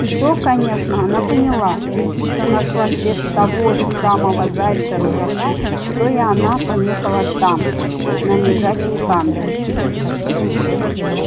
и то конечно она поняла лисица нашла след того же самого зайца-русака что и она понюхала там на лежачем камне